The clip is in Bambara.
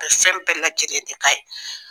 A ye fɛn bɛɛ lajɛlen de k'a ye